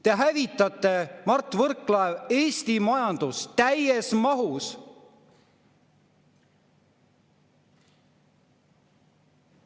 Te hävitate, Mart Võrklaev, Eesti majandust täies mahus!